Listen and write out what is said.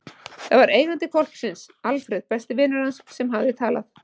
Það var eigandi hvolpsins, Alfreð, besti vinur hans, sem hafði talað.